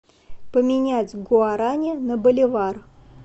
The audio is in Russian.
поменять гуарани на боливар